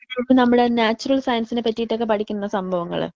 അപ്പോ നമ്മുടെ നാച്ചുറൽ സയൻസിനെ ഒക്കെ പറ്റിയിട്ട് പഠിക്കുന്ന സംഭവങ്ങള്.